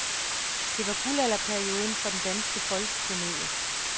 Det var guldalderperioden for den danske folkekomedie.